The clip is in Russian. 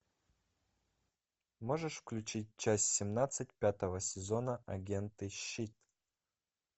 можешь включить часть семнадцать пятого сезона агенты щит